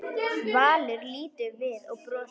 Valur lítur við og brosir.